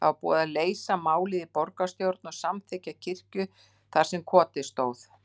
Það var búið að leysa málið í borgarstjórn og samþykkja kirkju þar sem kotið stóð.